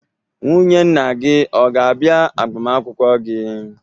Nwunye nna gị ọ ga-abia agbamakwụkwọ gi?